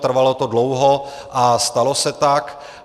Trvalo to dlouho a stalo se tak.